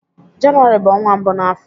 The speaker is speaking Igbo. Jenụwarị bụ ọnwa mbụ na afo